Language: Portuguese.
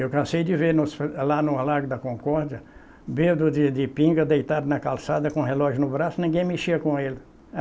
Eu cansei de ver nos lá no lago da Concórdia, bêbado de pinga, deitado na calçada, com relógio no braço, ninguém mexia com ele.